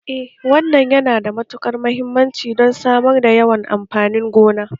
Eh wannan yana da mahimmanci don samar da yawan amfanin gona